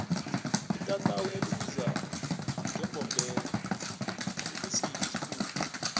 itatawu elibizwa ngembombela likusiphi isifunda